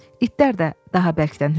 İtlər də daha bərkdən hürüşdü.